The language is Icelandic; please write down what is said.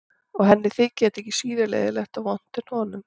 Og henni þyki þetta ekki síður leiðinlegt og vont en honum.